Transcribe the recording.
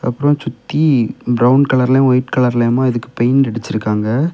அப்புறம் சுத்தி பிரவுன் கலர்லயும் ஒயிட் கலர்லயுமா இதுக்கு பெயிண்ட் அடிச்சு இருக்காங்க.